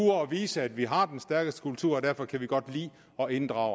vise at vi har den stærkeste kultur og derfor kan vi godt lide at inddrage